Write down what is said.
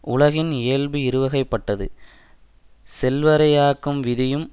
உலகின் இயல்பு இருவகைப்பட்டது செல்வரை ஆக்கும் விதியும்